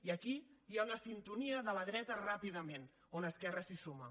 i aquí hi ha una sintonia de la dreta ràpidament on esquerra s’hi suma